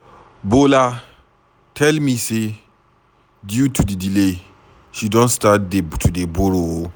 Bola tell me say due to the delay she don start to dey borrow.